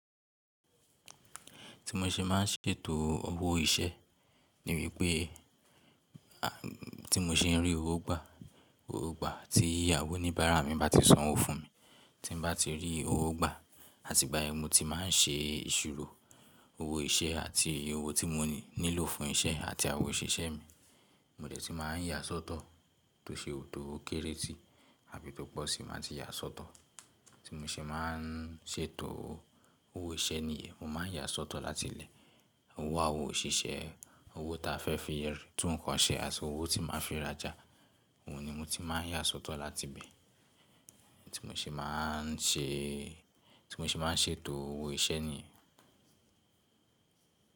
Ti mo ṣe ma ń ṣètò owó iṣẹ́ ni mi pé ti mo ṣe ń rí owó gbà, owó gbà tí àwón níbára mi bá ti san owó fún mi, ti bá ti rí owó gbà àti ìgbàyẹn ni mo ti máa ń ṣe ìṣirò owó iṣẹ́ àti owó tí mo nílò fún iṣẹ́ àti àwoṣiṣẹ́ mi. Mò dẹ́ ti máa ń yà sọ́tọ̀ tó ṣe ò tó kéré tí àbí tó pọ̀ sì máa ń ti yà sọ́tọ̀. Ti mo ṣe máa ń ṣètò owó iṣẹ́ ni ìyén, mo máa ń yà sọ́tọ̀ láti ilẹ̀. Owó àwoṣiṣẹ́, owó ta fẹ́ fi yẹrí tún nǹkan ṣe àti owó tí máa fi ràjà. Òun ni mo ti máa ń yà sọ́tọ̀ láti ibẹ̀ tí mo ṣe máa ń ṣe, tí mo ṣe máa ń ṣètò owó iṣẹ́ ni.